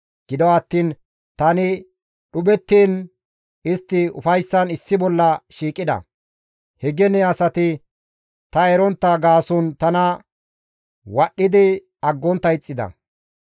Gido attiin tani dhuphettiin istti ufayssan issi bolla shiiqida; he gene asati ta erontta gaason tana wadhdhidi aggontta ixxida.